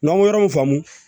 N'an ye yɔrɔ mun faamu